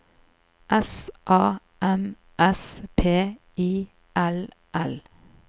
S A M S P I L L